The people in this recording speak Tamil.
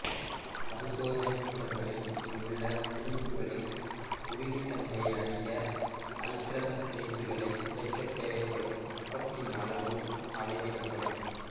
பரிசோதனைக் கூடங்களில் இங்குள்ள பிணைப்புக்களின் உறுதித்தன்மையை அறிய ஐதரசன் பிணைப்புக்களை உடைக்கத் தேவைப்படும் வெப்பத்தின் அளவு அளவிடப்படும்